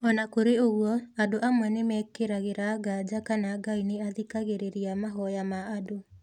O na kũrĩ ũguo, andũ amwe nĩ mekĩragĩra nganja kana Ngai nĩ athikagĩrĩria mahoya ma andũ.